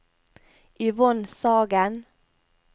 Yvonne Sagen